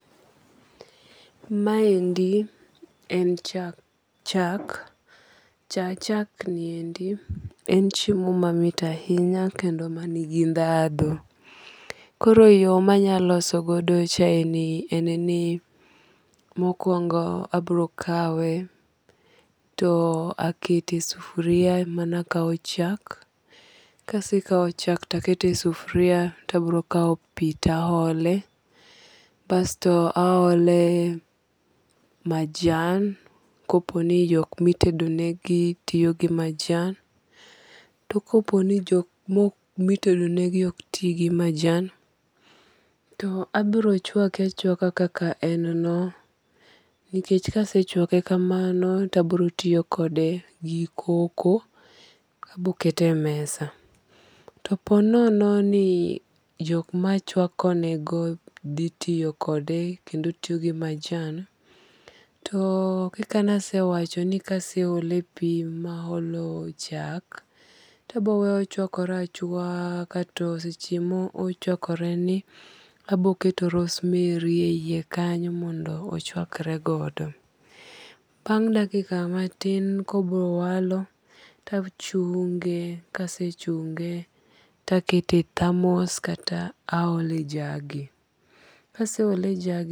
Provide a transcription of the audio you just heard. Ma endi en cha chak. Cha chak ni endi en chiemo mamit ahinya kendo mani gi dhadho. Koro yo manyalo loso godo chae ni en ni mokwongo abiro kawe to akete e sufria mana kaw chak. Kasekaw chak to akete sufria to abiro kaw pi to a ole. Basto a ole majan kopo ni jok mitedo negi tiyo gi majan. To kopo ni jok mitedo ne gi ok ti gi majan to abiro chwake achwaka kaka en no. Nikech kasechwake kamano to abiro tiyo kode gi cocoa. Abokete mesa. To po nono ni jok machwako ne go dhi tiyo kode kendo tiyo gi majan, to kaka ne asewacho ni kaseole pi ma aolo chak, to aboweye ochwakore achwaka to seche mo ochwakore ni to aboketo rosemary e yie kanyo mondo oichwakre godo. Bang' dakika matin kobiro walo to achunge. Kasechunge to akete e thamos kata aole jagi. Kase ole jagi.